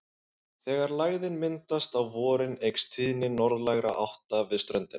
Þegar lægðin myndast á vorin eykst tíðni norðlægra átta við ströndina.